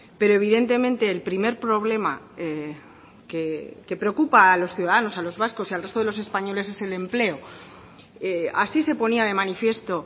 pero evidentemente el primer problema que preocupa a los ciudadanos a los vascos y al resto de los españoles es el empleo así se ponía de manifiesto